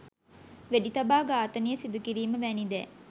වෙඩිතබා ඝාතනය සිදුකිරීම වැනි දෑ